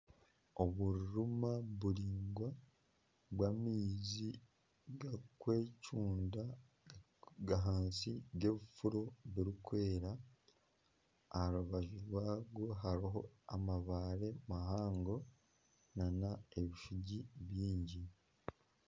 Obururuma buraingwa bw'amaizi gakwecunda g'ahansi g'ebifuro birikwera. Aha rubaju rwago hariho amabaare mahango n'ebishugi bingi.